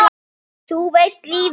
Þú veist, um lífið?